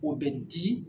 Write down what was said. O bɛ di